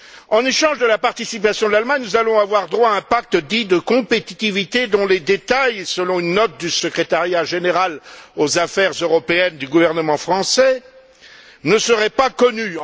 En échange de la participation de l'Allemagne, nous allons avoir droit à un pacte dit de compétitivité dont les détails, selon une note du secrétariat général aux affaires européennes du gouvernement français, ne seraient pas connus.